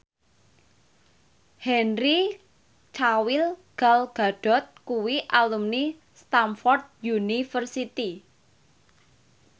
Henry Cavill Gal Gadot kuwi alumni Stamford University